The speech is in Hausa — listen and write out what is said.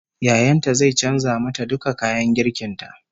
Yayan ta zai canza mata duka kayan girkin ta